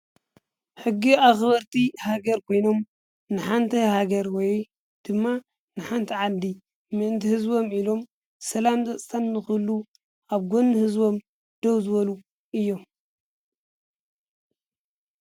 ሕጊ ኣኽበርቲ ሃገር ኮይኖም ንሓንቲ ሃገር ወይ ድማ ንሓንቲ ዓዲ ምእንቲ ህዝቦም ኢሎም ሰላም ፀጥታን ንክህሉ ኣብ ጎኒ ህዝቦም ደው ዝበሉ እዮም።